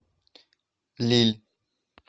лилль